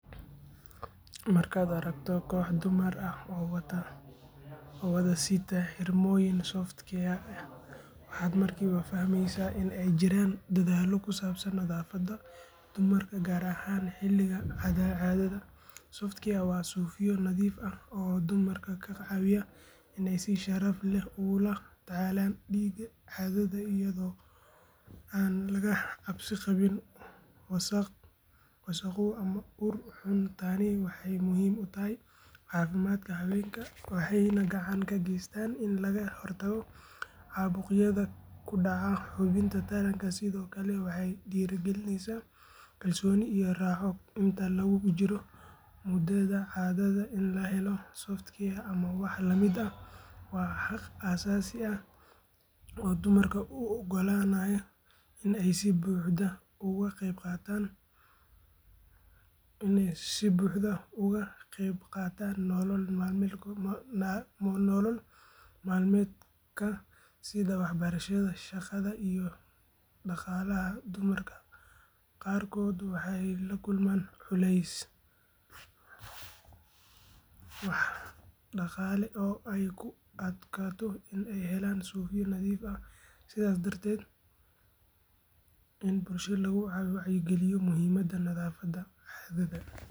Markaad aragto koox dumar ah oo wada sita xirmooyin Softcare ah waxaad markiiba fahmaysaa in ay jiraan dadaallo ku saabsan nadaafadda dumarka gaar ahaan xilliga caadada Softcare waa suufyo nadiif ah oo dumarka ka caawiya in ay si sharaf leh ugula tacaalaan dhiigga caadada iyadoo aan laga cabsi qabin wasakhow ama ur xun tani waxay muhiim u tahay caafimaadka haweenka waxayna gacan ka geysataa in laga hortago caabuqyada ku dhaca xubinta taranka sidoo kale waxay dhiirrigelisaa kalsooni iyo raaxo inta lagu jiro muddada caadada in la helo Softcare ama wax la mid ah waa xaq aasaasi ah oo dumarka u oggolaanaya in ay si buuxda uga qaybqaataan nolol maalmeedka sida waxbarashada shaqada iyo dhaqaalaha dumarka qaarkood waxay la kulmaan culays dhaqaale oo ay ku adkaato in ay helaan suufyo nadiif ah sidaas darteed in bulshada lagu wacyigeliyo muhiimadda nadaafadda caadada.